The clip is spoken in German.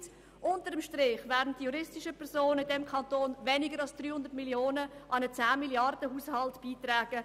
Fazit: Unter dem Strich werden die juristischen Personen in diesem Kanton weniger als 300 Mio. Franken an den 10 Milliarden-Haushalt beitragen.